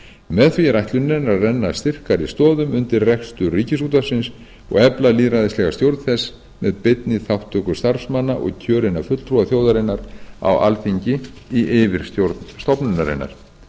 með því er ætlunin að renna styrkari stoðum undir rekstur ríkisútvarpsins og efla lýðræðislega stjórn þess með beinni þátttöku starfsmanna og kjörinna fulltrúa þjóðarinnar á alþingi í yfirstjórn stofnunarinnar